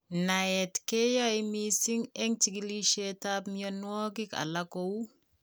Naet keyae mising en chigilisietab mionwagik alak kou